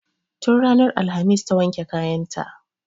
Tun ranar alhamis ta wanke kayan ta